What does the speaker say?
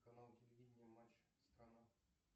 канал телевидения матч страна